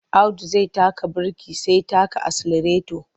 Audu zai taka birki sai taka aselareto.